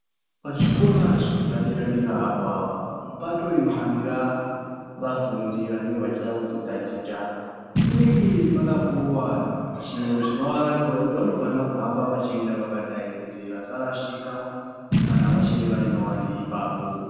Pazvikora zvepadera dera apa pato inohambira vafundi vanenge vachida kuzotaticha panenge pakapuwa chintu chinovaratidza kuti vanofanira kuhamba veienda vakadai kuti vasarashika kana vachiri vanyowani ipapo.